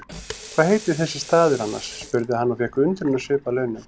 Hvað heitir þessi staður annars? spurði hann og fékk undrunarsvip að launum.